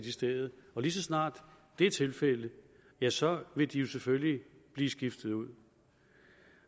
i stedet og lige så snart det er tilfældet ja så vil de selvfølgelig blive skiftet ud